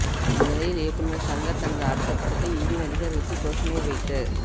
இந்நிலையில் இயக்குனர் ஷங்கர் தனது அடுத்த படத்தை இந்தி நடிகர் ரித்திக் ரோஷனை வைத்து